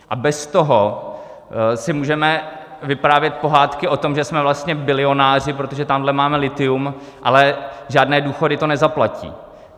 A bez toho si můžeme vyprávět pohádky o tom, že jsme vlastně bilionáři, protože tamhle máme lithium, ale žádné důchody to nezaplatí.